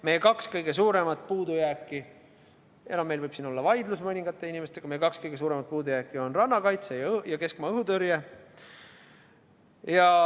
Meie kaks kõige suuremat puudujääki – meil võib siin olla küll vaidlus mõningate inimestega – on rannakaitse ja keskmaa õhutõrje.